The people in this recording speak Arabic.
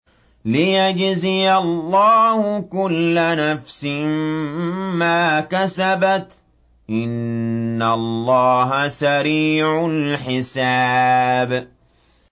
لِيَجْزِيَ اللَّهُ كُلَّ نَفْسٍ مَّا كَسَبَتْ ۚ إِنَّ اللَّهَ سَرِيعُ الْحِسَابِ